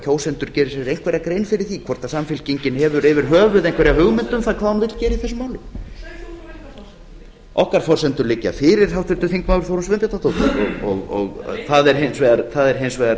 kjósendur geri sér einhverja grein fyrir því hvort samfylkingin hefur yfir höfuð einhverja hugmynd um það hvað hún vill gera í þessu máli okkar forsendur liggja fyrir háttvirtur þingmaður þórunn sveinbjarnardóttir það er hins vegar